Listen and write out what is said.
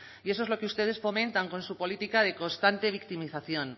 y eso es lo que ustedes fomentan con su política de constante victimización